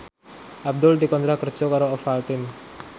Abdul dikontrak kerja karo Ovaltine